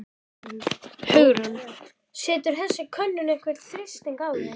Hugrún: Setur þessi könnun einhvern þrýsting á þig?